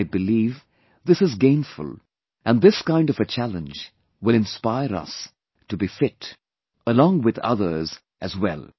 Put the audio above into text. I believe this is gainful and this kind of a challenge will inspire us to be fit alongwith others, as well